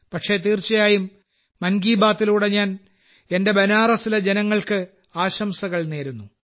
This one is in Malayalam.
പക്ഷേ തീർച്ചയായും മൻ കി ബാത്തിലൂടെ ഞാൻ എന്റെ ബനാറസിലെ ജനങ്ങൾക്ക് ആശംസകൾ നേരുന്നു